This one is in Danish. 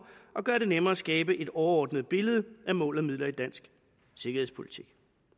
og gøre det nemmere at skabe et overordnet billede af mål og midler i dansk sikkerhedspolitik